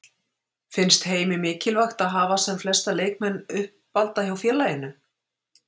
Finnst Heimi mikilvægt að hafa sem flesta leikmenn uppalda hjá félaginu?